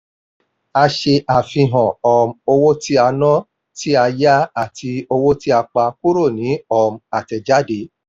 a ṣe àfihàn um owó tí a ná tí a yá àti owó tí a pa kúrò ní um àtẹ̀jáde.